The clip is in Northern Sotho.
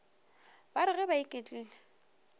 ba re ge ba iketlile